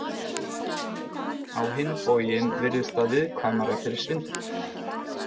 Á hinn bóginn virðist það viðkvæmara fyrir svindli.